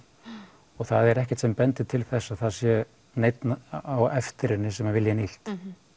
og það er ekkert sem bendir til þess að sé neinn á eftir henni sem vill henni illt